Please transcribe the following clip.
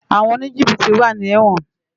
Awòn ónijibití wá ni èwòn